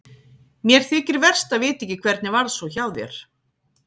Mér þykir verst að vita ekki hvernig varð svo hjá þér?